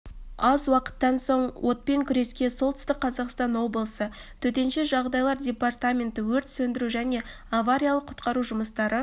аз уақыттан соң отпен күреске солтүстік қазақстан облысы төтенше жағдайлар департаменті өрт сөндіру және авариялық-құтқару жұмыстары